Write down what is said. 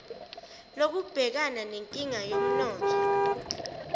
lokubhekana nenkinga yomnotho